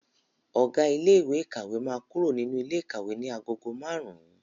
Ọ̀gá ilé ìkàwé máa kúrò nínú ilé ikawe ní agogo márùn-ún.